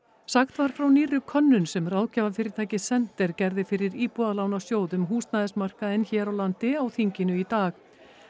sagt var frá nýrri könnun sem ráðgjafafyrirtækið gerði fyrir Íbúðalánasjóð um húsnæðismarkaðinn hér á landi á þinginu í dag